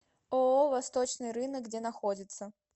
ооо восточный рынок где находится